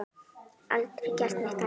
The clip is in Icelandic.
Aldrei gert neitt annað.